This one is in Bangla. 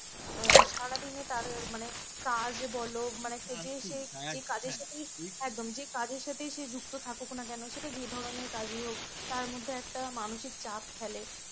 সে যুক্ত থাকুক না কেন সেটা যে ধরনের কাজ ই হোক তার মধ্যে একটা মানুষের চাপ ফেলে